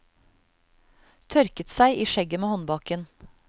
Tørket seg i skjegget med håndbaken.